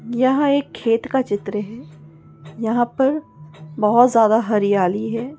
यहा एक खेत का चित्र है यहा पर बहुत ज्यादा हरियाली है।